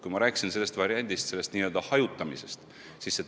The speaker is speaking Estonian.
Ma juba rääkisin n-ö hajutamise variandist.